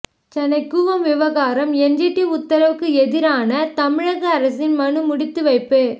சென்னை கூவம் விவகாரம் என்ஜிடி உத்தரவுக்கு எதிரான தமிழக அரசின் மனு முடித்துவைப்பு